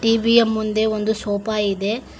ಟೀವಿಯ ಮುಂದೆ ಒಂದು ಸೋಫಾ ಇದೆ.